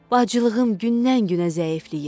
Bacılığım gündən-günə zəifləyir.